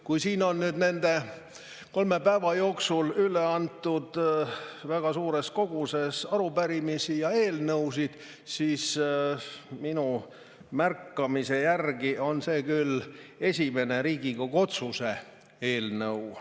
Kui siin on nüüd nende kolme päeva jooksul üle antud väga suures koguses arupärimisi ja eelnõusid, siis minu märkamise järgi on see küll esimene Riigikogu otsuse eelnõu.